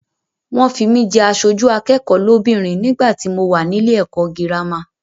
Wọ́n fi mí jẹ aṣojú akẹ́kọ̀ọ́ lóbìnrin nígbàtí mo wà nílé ẹ̀kọ́ gírámà.